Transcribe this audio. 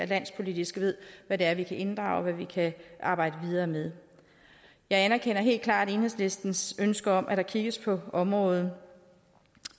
landspolitisk ved hvad det er vi kan inddrage og hvad vi kan arbejde videre med jeg anerkender helt klart enhedslistens ønske om at der kigges på området